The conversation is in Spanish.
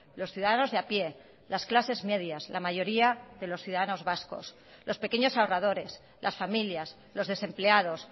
los ciudadanos de a pie las clases medias la mayoría de los ciudadanos vascos los pequeños ahorradores las familias los desempleados